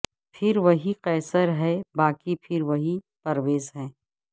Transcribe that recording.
پھر وہی قیصر ہے باقی پھر وہی پرویز ہے